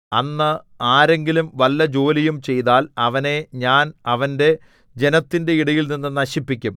അന്ന് ആരെങ്കിലും വല്ല ജോലിയും ചെയ്താൽ അവനെ ഞാൻ അവന്റെ ജനത്തിന്റെ ഇടയിൽനിന്ന് നശിപ്പിക്കും